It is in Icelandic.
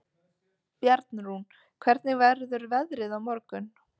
Bjarnrún, hvernig verður veðrið á morgun?